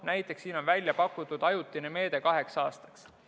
Näiteks siin on välja pakutud ajutine meede kaheks aastaks.